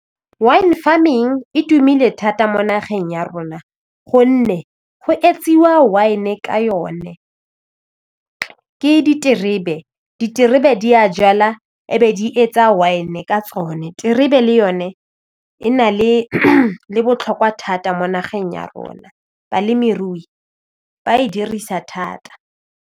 Wine farming e tumile thata mo nageng ya rona gonne go etsiwa wine ka yone ke diterebe, diterebe di a jala a e be di etsa wine ka tsone, terebe le yone e na le botlhokwa thata mo nageng ya rona balemirui ba e dirisa thata.